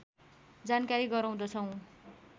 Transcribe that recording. जानकारी गराउँदछौँ